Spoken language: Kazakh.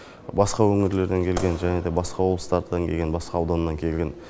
басқа өңірлерден келген және де басқа облыстардан келген басқа аудандардан келген